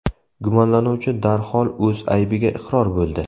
Gumonlanuvchi darhol o‘z aybiga iqror bo‘ldi.